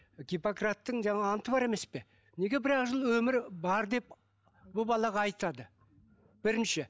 гиппократтың жаңағы анты бар емес пе неге бір ақ жыл өмірі бар деп бұл балаға айтады бірінші